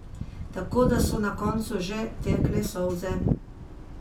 Tako da so na koncu že tekle solze.